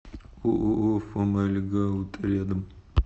ооо фомальгаут рядом